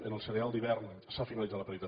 en el cereal d’hivern s’ha finalitzat el peritatge